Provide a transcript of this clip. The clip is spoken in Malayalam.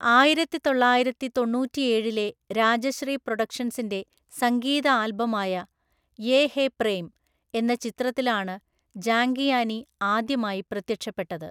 ആയിരത്തിതൊള്ളായിരത്തിതൊണ്ണൂറ്റിയേഴിലെ രാജശ്രീ പ്രൊഡക്ഷൻസിന്റെ സംഗീത ആൽബമായ 'യേ ഹേ പ്രേം' എന്ന ചിത്രത്തിലാണ് ജാംഗിയാനി ആദ്യമായി പ്രത്യക്ഷപ്പെട്ടത്.